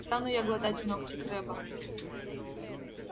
стану я глотать ногти крэбба